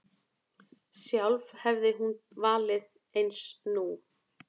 Sjálf hefði hún valið eins nú.